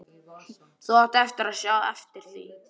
Þú átt eftir að sjá eftir því!